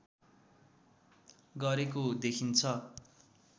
गरेको देखिन्छ